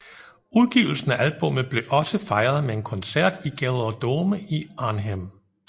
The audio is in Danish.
Udgivelsen af albummet blev også fejret med en koncert i GelreDome i Arnhem